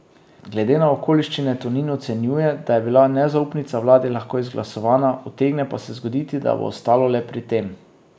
Glede na okoliščine Tonin ocenjuje, da bi bila nezaupnica vladi lahko izglasovana, utegne pa se zgoditi, da bo ostalo le pri tem.